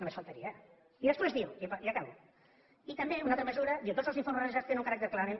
només faltaria i després diu i acabo i també una altra mesura diu tots els informes realitzats tenen un caràcter clarament